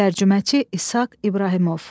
Tərcüməçi İshaq İbrahimov.